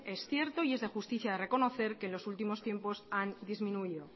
es cierto y es de justicia de reconocer que los últimos tiempos han disminuido